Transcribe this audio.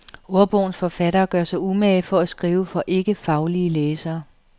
Ordbogens forfattere gør sig umage med at skrive for ikke-faglige læsere.